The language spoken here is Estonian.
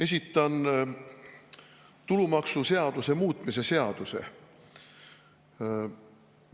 Esitan tulumaksuseaduse muutmise seaduse.